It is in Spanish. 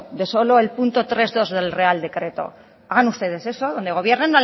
de solo el punto tres punto dos del real decreto hagan ustedes eso donde gobiernan hagan ustedes eso